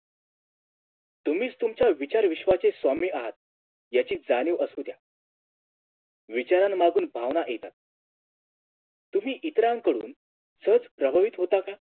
तुम्हीच तुमच्या विचार विश्वाचे स्वामी आहात याची जाणीव आसू द्या विचारनमागून भावना येतात तुम्ही इतरांकडून सहज प्रभावित होता का